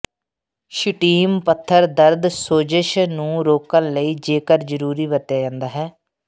Shittim ਪੱਥਰ ਦਰਦ ਸੋਜ਼ਸ਼ ਨੂੰ ਰੋਕਣ ਲਈ ਜੇਕਰ ਜ਼ਰੂਰੀ ਵਰਤਿਆ ਜਾਦਾ ਹੈ